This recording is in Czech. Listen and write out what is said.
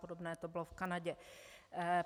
Podobné to bylo v Kanadě.